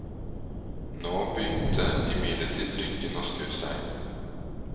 Nå begynte imidlertid lykken å snu seg.